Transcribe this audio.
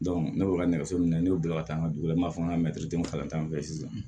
ne bɛ ka nɛgɛso minɛ ne y'o bila ka taa nugula n b'a fɔ an ka kalan fɛ sisan